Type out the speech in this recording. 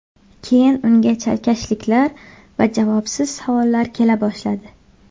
Keyin unga chalkashliklar va javobsiz savollar kela boshladi.